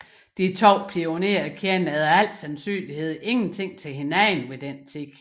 De to pionerer kendte efter al sandsynlighed intet til hinanden ved den tid